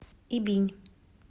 ибинь